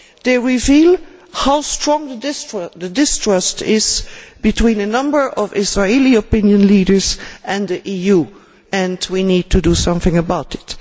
They reveal how strong the distrust is between a number of Israeli opinion makers and the EU and we need to do something about it.